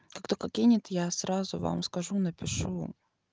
как только кинет я сразу вам скажу напишу